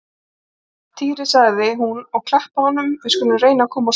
Týri sagði hún og klappaði honum, við skulum reyna að komast út